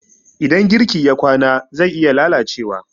idan girki ya kwana zai iya lalacewa